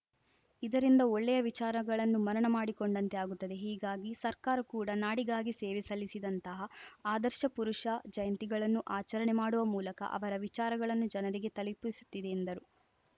ಇದರಿಂದ ಒಳ್ಳೆಯ ವಿಚಾರಗಳನ್ನು ಮನನ ಮಾಡಿಕೊಂಡಂತೆ ಆಗುತ್ತದೆ ಹೀಗಾಗಿ ಸರ್ಕಾರ ಕೂಡ ನಾಡಿಗಾಗಿ ಸೇವೆ ಸಲ್ಲಿಸಿದಂತಹ ಆದರ್ಶ ಪುರುಷ ಜಯಂತಿಗಳನ್ನು ಆಚರಣೆ ಮಾಡುವ ಮೂಲಕ ಅವರ ವಿಚಾರಗಳನ್ನು ಜನರಿಗೆ ತಲುಪಿಸುತ್ತಿದೆ ಎಂದರು